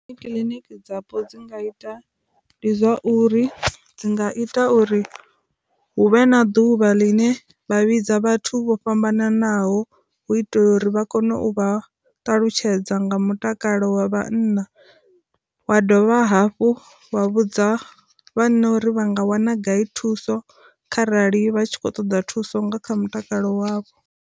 Kiḽiniki dzapo dzi nga ita ndi zwa uri, dzi nga ita uri hu vhe na ḓuvha ḽine vha vhidza vhathu vho fhambananaho hu itela uri vha kone u vha ṱalutshedza nga mutakalo wa vhanna, wa dovha hafhu wa vhudza vhanna uri vha nga wana gai thuso kharali vha tshi khou ṱoḓa thuso nga kha mutakalo wavho.